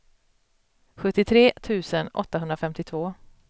sjuttiotre tusen åttahundrafemtiotvå